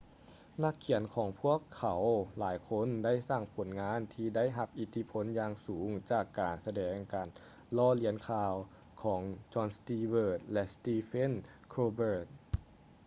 ນັກຂຽນຂອງພວກເຂົາຫຼາຍຄົນໄດ້ສ້າງຜົນງານທີ່ໄດ້ຮັບອິດທິພົນຢ່າງສູງຈາກການສະແດງການລໍ້ລຽນຂ່າວ ຂອງ jon stewart ແລະ stephen colbert